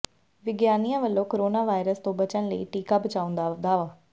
ਵਿਗਿਆਨੀਆ ਵੱਲੋ corona virus ਤੋਂ ਬੱਚਣ ਲਈ ਟੀਕਾ ਬਣਾਉਣ ਦਾ ਦਾਅਵਾ